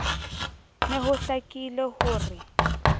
ne ho hlakile ho re